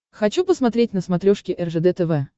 хочу посмотреть на смотрешке ржд тв